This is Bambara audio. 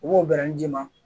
U b'o bɛrɛ d'i ma